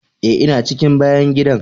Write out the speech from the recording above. Eh, ina cikin bayan gidan.